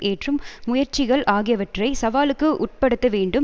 ஏற்றும் முயற்சிகள் ஆகியவற்றை சவாலுக்கு உட்படுத்த வேண்டும்